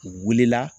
U wulila